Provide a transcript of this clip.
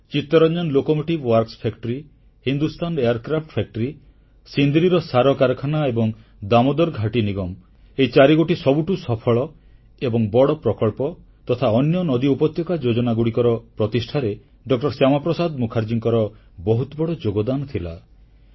ଚିତ୍ତରଞ୍ଜନ ରେଳ ମରାମତି କାରଖାନା ହିନ୍ଦୁସ୍ଥାନ ବିମାନ କାରଖାନା ସିନ୍ଦ୍ରିର ସାର କାରଖାନା ଏବଂ ଦାମୋଦର ଘାଟି ନିଗମ ଏହି ଚାରିଗୋଟି ସବୁଠୁ ସଫଳ ଏବଂ ବଡ଼ ପ୍ରକଳ୍ପ ତଥା ଅନ୍ୟ ନଦୀ ଉପତ୍ୟକା ଯୋଜନାଗୁଡ଼ିକର ପ୍ରତିଷ୍ଠାରେ ଡ ଶ୍ୟାମାପ୍ରସାଦ ମୁଖାର୍ଜୀଙ୍କର ବହୁତ ବଡ଼ ଯୋଗଦାନ ଥିଲା